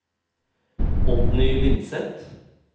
Oddny Lindseth